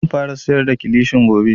Zan fara siyar da kilishin gobe